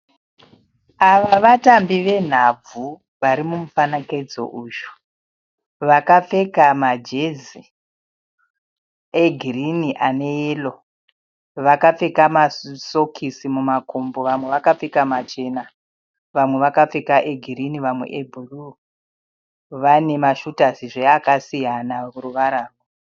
Ava vatambi venhabvu varimumufanekedzo uyu vakapfeka majezi egirini ane yero. Vakapfeka masokisi mumakumbo vamwe vakapfeka machena vamwe vakapfeka egirinhi vamwe ebhuruu. Vanemashutazizve akasiyana ruvara.